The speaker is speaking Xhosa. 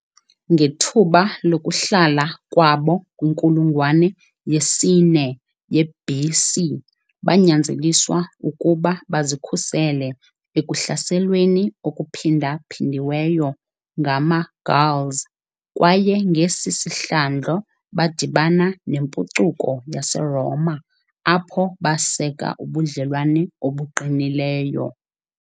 Ngethuba lokuhlala kwabo kwinkulungwane ye-4 ye-BC banyanzeliswa ukuba bazikhusele ekuhlaselweni okuphindaphindiweyo ngamaGauls kwaye ngesi sihlandlo badibana nempucuko yaseRoma apho baseka ubudlelwane obuqinileyo.